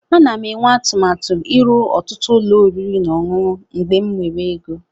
Ana m eme atụmatụ ịrụ ọtụtụ ụlọ oriri na ọṅụṅụ mgbe m nwere ego.